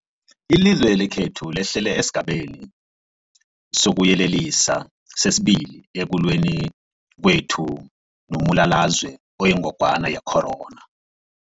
Ilizwe lekhethu lehlele esiGabeni sokuYelelisa sesi-2 ekulweni kwethu nombulalazwe oyingogwana ye-corona.